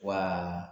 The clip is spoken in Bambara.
Wa